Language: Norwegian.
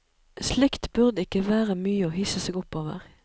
Slikt burde ikke være mye å hisse seg opp over.